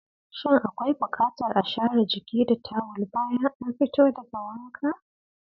Shin akwai bukatar a share jiki da tawul bayan an fito daga wanka?